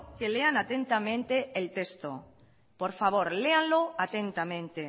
que lean atentamente el texto por favor léanlo atentamente